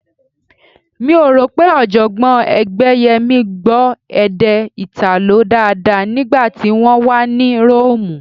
Mi ò rò pé Ọ̀jọ̀gbọ́n Ẹgbẹ́yẹmí gbọ́ èdè Ìtàló dáadáa nígbà tí wọ́n wà ní Róòmù